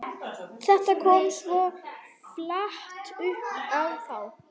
Þetta kom svo flatt upp á þá.